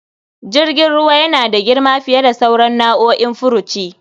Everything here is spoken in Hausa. Jirgin ruwa yana da girma fiye da sauran nau'o'in furuci.